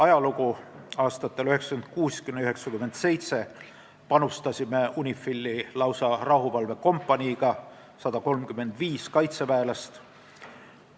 Aastatel 1996–1997 panustasime sinna lausa rahuvalvekompaniiga, 135 kaitseväelasega.